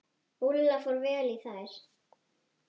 Úlla fór vel í þær.